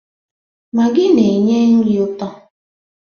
Magị na-enye nri ụtọ.